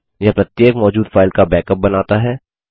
यह प्रत्येक मौजूद फाइल का बैकअप बनाता है